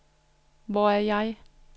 Hvor er jeg